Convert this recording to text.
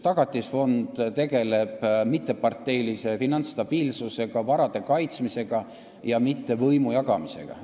Tagatisfond tegeleb mitteparteilise finantsstabiilsusega ja varade kaitsmisega, mitte võimu jagamisega.